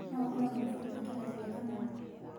No ũkorwo na mabuku ma kĩrathi gĩa kanana